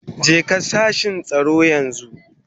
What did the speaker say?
Jeka sashin tsaro yanzu.